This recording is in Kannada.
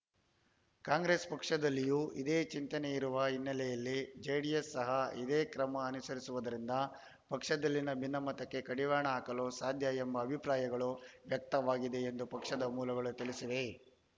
ಕಾಂಗ್ರೆಸ್‌ ಪಕ್ಷದಲ್ಲಿಯೂ ಇದೇ ಚಿಂತನೆ ಇರುವ ಹಿನ್ನೆಲೆಯಲ್ಲಿ ಜೆಡಿಎಸ್‌ ಸಹ ಇದೇ ಕ್ರಮ ಅನುಸರಿಸುವುದರಿಂದ ಪಕ್ಷದಲ್ಲಿನ ಭಿನ್ನಮತಕ್ಕೆ ಕಡಿವಾಣ ಹಾಕಲು ಸಾಧ್ಯ ಎಂಬ ಅಭಿಪ್ರಾಯಗಳು ವ್ಯಕ್ತವಾಗಿದೆ ಎಂದು ಪಕ್ಷದ ಮೂಲಗಳು ತಿಳಿಸಿವೆ